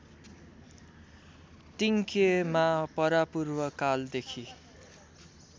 तिङक्येमा परापूर्वकालदेखि